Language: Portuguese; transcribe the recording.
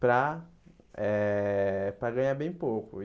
para eh para ganhar bem pouco e.